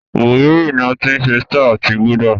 Búhírì ní a tí ṣe Star àti gulder